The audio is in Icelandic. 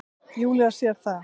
Júlía sér það.